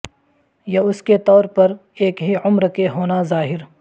یہ اس کے طور پر ایک ہی عمر کے ہونا ظاہر